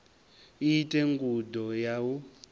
i ite ngudo ya u